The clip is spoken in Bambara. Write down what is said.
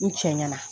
N cɛ ɲɛna